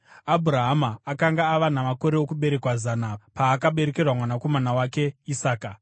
Abhurahama akanga ava namakore okuberekwa zana paakaberekerwa mwanakomana wake Isaka.